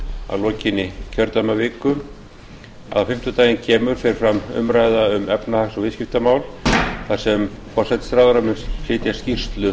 að lokinni kjördæmaviku á fimmtudaginn kemur fer fram umræða um efnahags og viðskiptamál þar sem forsætisráðherra mun flytja skýrslu